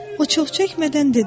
O çox çəkmədən dedi: